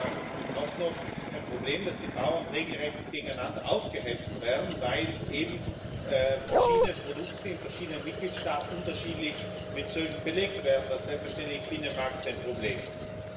Es ist ja auch noch ein Problem, dass die Bauern regelrecht gegeneinander aufgehetzt werden, weil eben verschiedene Produkte in verschiedenen Mitgliedstaaten unterschiedlich mit Zöllen belegt werden, was im Binnenmarkt selbstverständlich ein Problem ist.